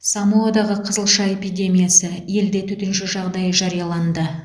самоадағы қызылша эпидемиясы елде төтенше жағдай жарияланды